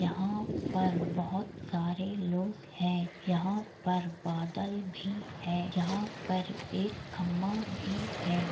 यहाँ पर बहोत सारे लोग है यहाँ पर बादल भी है यहाँ पर एक खंबा भी है।